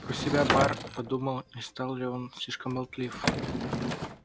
про себя бар подумал не стал ли он слишком болтлив